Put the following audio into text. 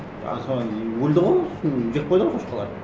а содан кейін өлді ғой соны жеп қойды ғой шошқалар